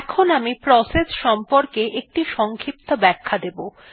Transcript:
এখন আমি প্রসেস সংক্রান্ত একটি সংক্ষিপ্ত ব্যাখ্যা দেবো